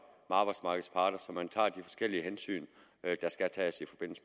arbejdsmarkedets parter så man tager de forskellige hensyn der skal tages i forbindelse